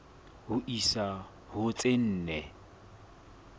ho isa ho tse nne